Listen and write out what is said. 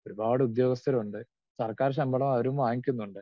Speaker 2 ഒരുപാട് ഉദ്യോഗസ്ഥരുണ്ട് സർക്കാർ ശമ്പളം അവരും വാങ്ങി ക്കുന്നുണ്ട്.